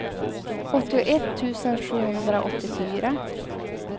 åttioett tusen sjuhundraåttiofyra